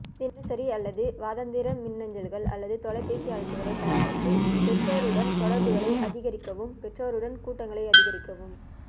தினசரி அல்லது வாராந்திர மின்னஞ்சல்கள் அல்லது தொலைபேசி அழைப்புகளைப் பயன்படுத்தி பெற்றோருடன் தொடர்புகளை அதிகரிக்கவும் பெற்றோருடன் கூட்டங்களை அதிகரிக்கவும்